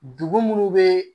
Dugu munnu be